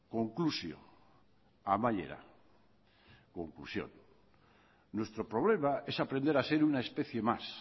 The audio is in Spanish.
konklusioa amaiera conclusión nuestro problema es aprender a ser una especie más